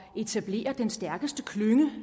etablere den stærkeste klynge